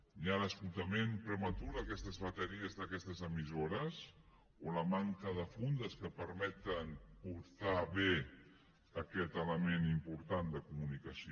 hi ha un esgotament prematur d’aquestes bateries d’aquestes emissores o la manca de fundes que permeten portar bé aquest element important de comunicació